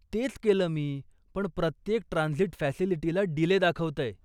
तेच केलं मी, पण प्रत्येक ट्रांझिट फॅसिलिटीला डीले दाखवतंय.